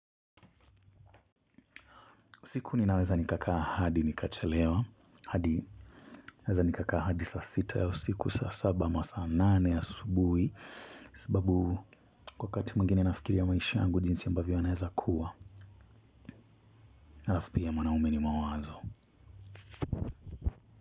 Siku ninaweza nikakaa hadi nikachelewa. Hadi naeza nikakaa hadi saa sita ya usiku saa saba masaa nane ya asubuhi. Sababu wakati mwingine nafikiria maisha yangu jinsi ambavyo yanaeza kuwa. Alafu pia mwanaume ni mawazo.